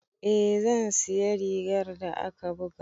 Eh zan siya rigar da aka buga.